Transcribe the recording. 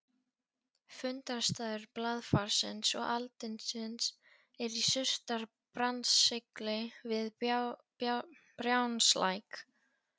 Fundarstaður blaðfarsins og aldinsins er í Surtarbrandsgili við Brjánslæk.